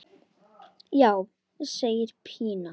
Já, segir Pína.